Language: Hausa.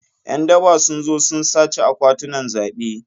Yan daba sun zo sun sace akwatunan zabe.